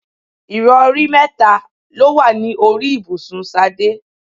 Ìrọ̀rí mẹ́ta ló wà ní orí ibùsùn Ṣadé.